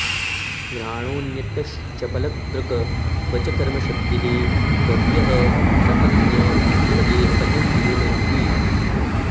घ्राणोऽन्यतश्चपलदृक् क्व च कर्मशक्तिः बह्व्यः सपत्न्य इव गेहपतिं लुनन्ति